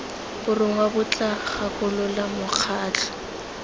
borongwa bo tla gakolola mokgatlho